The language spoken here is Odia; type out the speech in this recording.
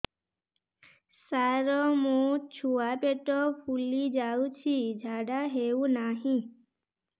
ସାର ମୋ ଛୁଆ ପେଟ ଫୁଲି ଯାଉଛି ଝାଡ଼ା ହେଉନାହିଁ